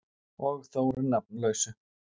Og Þóru nafnlausu.